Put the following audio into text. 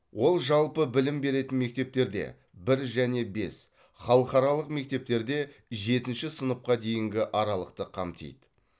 ол жалпы білім беретін мектептерде бір және бес халықаралық мектептерде жетінші сыныпқа дейінгі аралықты қамтиды